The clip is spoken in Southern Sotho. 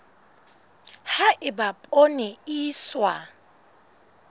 ha eba poone e iswa